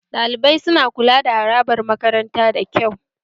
Ɗalibai su na kula da harabar makarantar da kyau